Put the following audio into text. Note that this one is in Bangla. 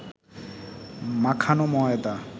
মাখানো ময়দা